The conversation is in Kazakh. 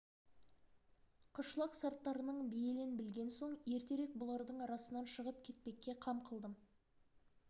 қышлақ сарттарының бейілін білген соң ертерек бұлардың арасынан шығып кетпекке қам қылдым